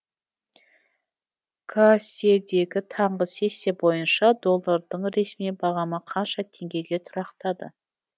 касе дегі таңғы сессия бойынша доллардың ресми бағамы қанша теңгеге тұрақтады